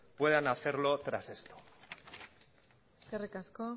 puedan hacerlo tras esto eskerrik asko